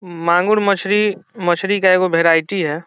मांगुर मछली मछली का एक वैरायटी है।